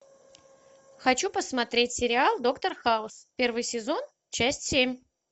хочу посмотреть сериал доктор хаус первый сезон часть семь